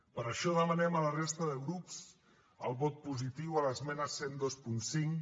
per això demanem a la resta de grups el vot positiu a l’esmena deu vint cinc